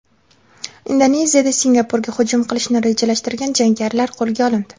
Indoneziyada Singapurga hujum qilishni rejalashtirgan jangarilar qo‘lga olindi.